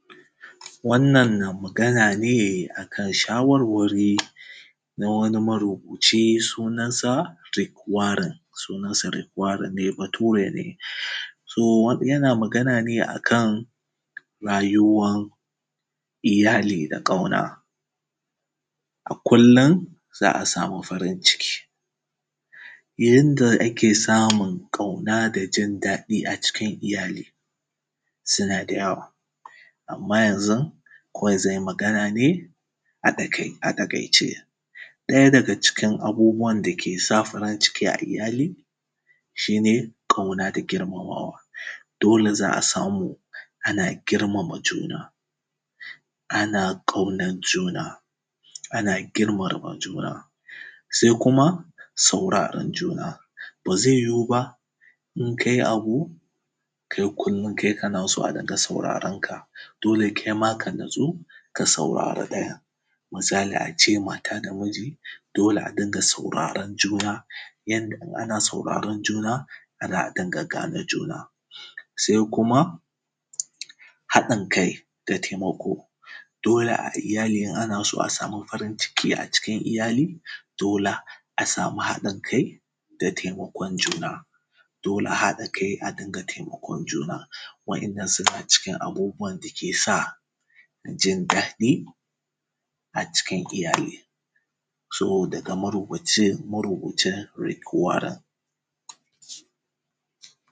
Wannan na magana ne a kan shawarwari, na wani marubuci sunansa Rigwaran, sunansa Rigwaran ne bature ne. so yana magana ne a kan, rayuwan iyali da ƙauna, a kullum za a samu farin ciki, yanda ake samun ƙauna da jin daɗi a cikin iyali suna da yawa. Amma yanzu kawai zany i magana ne a ɗakai a taƙaice, ɗaya daga cikin abubuwan dake sa farin ciki a iyali shi ne ƙauna da girmamawa, dole za a samu ana girmama juna. Ana ƙaunan juna, ana girmama juna. Sai kuma sauraran juna, ba zi yiyu ba in kai abu, kai kullum kana so a dinga saurarenka dole kai ma ka natsu ka saurari ɗayan. Misali ace mata da miji, dole a dinga sauraren juna, yanda in ana sauraran juna ana gane juna. Sai kuma haɗin kai da taimako, dole a iyali in ana so sami farin-ciki a cikin iyali dole a sami haɗin kai da taimakon juna. Dole a haɗa kai a dinga taimakon juna, waɗannan suna daga cikin abubuwan da ke sa jin daɗi a cikin iyali. So daga marubuci Rigwaran.